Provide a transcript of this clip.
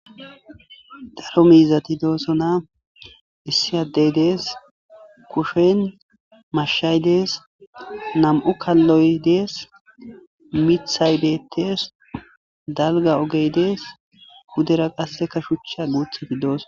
daro miizati doosona issi adey dees kushen mashshay dees nam7u kalloy dees mithaydeetees dalga ogey dees kudera qasseka shucha guuthati dooso